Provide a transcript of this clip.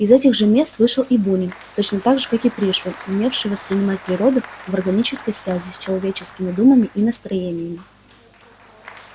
из этих же мест вышел и бунин точно так же как и пришвин умевший воспринимать природу в органической связи с человеческими думами и настроениями